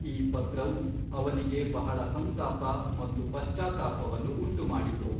ಈ ಪತ್ರವು ಅವನಿಗೆ ಬಹಳ ಸಂತಾಪ ಮತ್ತು ಪಶ್ಚಾತ್ತಾಪವನ್ನು ಉಂಟುಮಾಡಿತು.